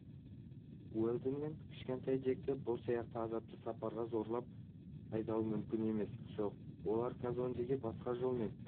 уэлдон мен кішкентай джекті бұл сияқты азапты сапарға зорлап айдауы мүмкін емес жоқ оларды казондеге басқа жолмен